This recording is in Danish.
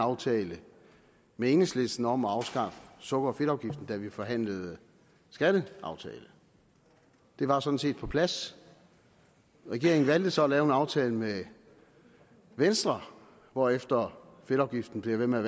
aftale med enhedslisten om at afskaffe sukker og fedtafgiften da vi forhandlede skatteaftale det var sådan set på plads regeringen valgte så at lave en aftale med venstre hvorefter fedtafgiften bliver ved med